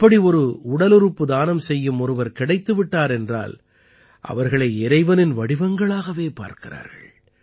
அப்படி ஒரு உடலுறுப்பு தானம் செய்யும் ஒருவர் கிடைத்து விட்டார் என்றால் அவர்களை இறைவனின் வடிவங்களாகவே பார்க்கிறார்கள்